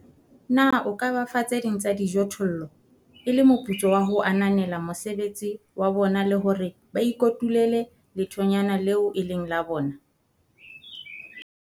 Na o ka ba fa tse ding tsa dijothollo e le moputso wa ho ananela mosebetsi wa bona le hore ba ikotulele lethonyana leo e leng la bona?